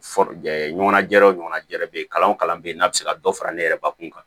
ɲɔgɔnna jɛrɛw ɲɔgɔnna jɛɛrɛ bɛ ye kalan o kalan bɛ n'a bɛ se ka dɔ fara ne yɛrɛ bakun kan